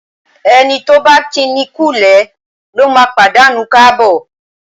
Ẹni tí ọ̀ bá kíni kúulé lóma pàdánù káàbọ̀.